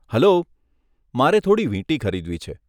Hello, મારે થોડી વીંટી ખરીદવી છે.